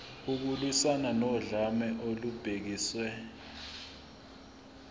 ukulwiswana nodlame olubhekiswe